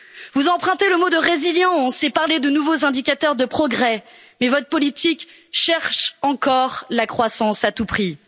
Vous empruntez le mot de résilience et parlez de nouveaux indicateurs de progrès, mais votre politique cherche encore la croissance à tout prix.